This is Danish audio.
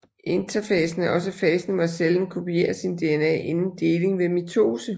Interfasen er også fasen hvor cellen kopierer sin DNA inden deling ved mitose